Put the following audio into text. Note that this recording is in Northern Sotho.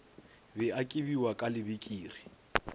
be a kibiwa ka lebikiri